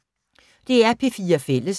DR P4 Fælles